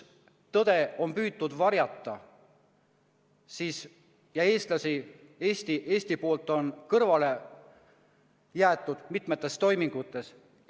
Tõde on püütud varjata ja eestlased, Eesti pool, on kõrvale jäetud mitmetes toimingutes.